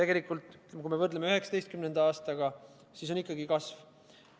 Kui me võrdleme 2019. aastaga, siis on ikkagi kasv.